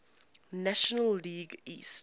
national league east